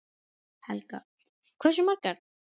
Helga: Hversu margar?